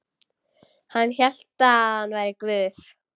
Hann hélt hann væri Guð.